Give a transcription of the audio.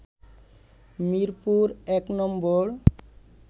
Mirpur নম্বর